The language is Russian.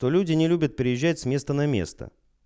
то люди не любят приезжать с места на место